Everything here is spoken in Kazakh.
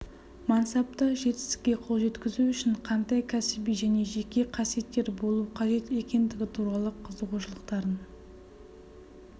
мансапта жетістікке қол жеткізу үшін қандай кәсіби және жеке қасиеттер болу қажет екендігі туралы қызығушылықтарын